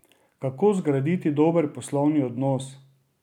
Kako zgraditi dober poslovni odnos?